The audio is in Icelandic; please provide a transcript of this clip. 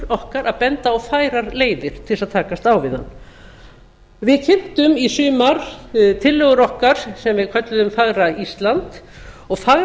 okkar að benda á færar leiðir til að takast á við hann við birtum í sumar tillögur okkar sem við kölluðum fagra ísland og fagra